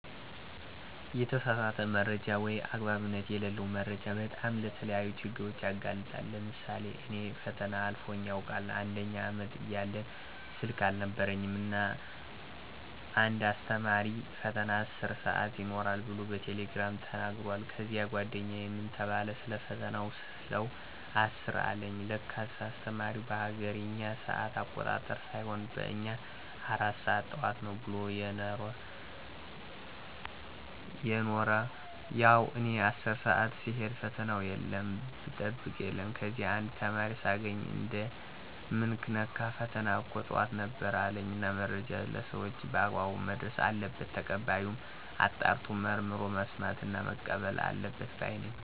የተሳሳተ መረጃ ወይም አግባብነት የለለው መረጃ በጣም ለተለያዩ ችግሮች ያጋልጣል። ለምሳሌ እኔ ፈተና አልፎኝ ያውቃል፦ አንደኛ አመት እያለን ስልክ አልነበረኝም እና እና አንድ አስተማሪ ፈተና 10 ሰአት ይኖራል ብሎ በቴሌግራም ተናግሯል። ከዚያ ጓደኛየን ምን ተባለ ሰለፈተና ስለው 10 አለኝ ለካስ አስተማሪው በሀገሬኛ ሰአት አቆጣጠር ሳይሆን በእኛ 4 ሰአት ጠዋት ነው ብሎ የነሮ። ያው እኔ 10 ሰአት ስሄድ ፈተና የለም ብጠብቅ የለም። ከዚያ አንድ ተማሪ ሳገኝ እንዴ ምን ነካህ ፈተና እኮ ጠዋት ነበር አለኝ። እና መረጃ ለሰወች በአግባብ መድረስ አለበት። ተቀባዩም አጣርቶና መርምሮ መስማትና መቀበል አለበት ባይ ነኝ።